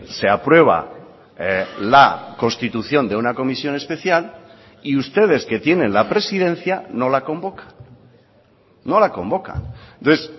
se aprueba la constitución de una comisión especial y ustedes que tienen la presidencia no la convoca no la convoca entonces